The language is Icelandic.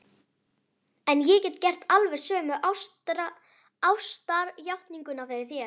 En ég get gert alveg sömu ástarjátninguna fyrir þér.